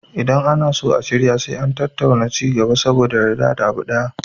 Idan ana so a shirya sai an tattauna ci gaba saboda a yarda da abu ɗaya